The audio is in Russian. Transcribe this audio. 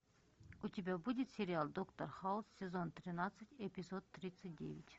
у тебя будет сериал доктор хаус сезон тринадцать эпизод тридцать девять